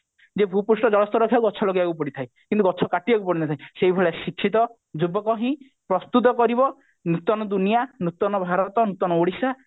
ଯେ ଭୁପୃଷ୍ଠ ଜଳସ୍ତର ରେ ଗଛ ଲଗେଇବାକୁ ପଡିଥାଏ କିନ୍ତୁ ଗଛ କାଟିବାକୁ ପଡି ନଥାଏ କିନ୍ତୁ ସେଇ ଭଳିଆ ଶିକ୍ଷିତ ଯୁବକ ହିଁ ପ୍ରସ୍ତୁତ କରିବ ନୂତନ ଦୁନିଆ ନୂତନ ଭାରତ ନୂତନ ଓଡିଶା